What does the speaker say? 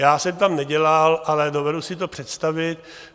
Já jsem tam nedělal, ale dovedu si to představit.